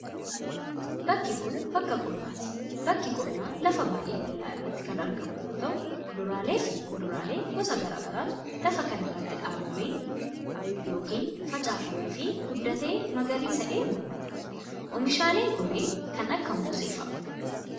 Bakki kun, bakka qonnaati. Bakki qonnaa lafa baay'ee bal'aa irratti kan argamu yoo ta'u, kuduraalee fi muduraalee gosa garaa garaatu lafa kana irratti dhaabamee yokin facaafamee fi guddatee magariisa'ee mul'ata. Oomishaaleen kunneen, kan akka moosee faa dha.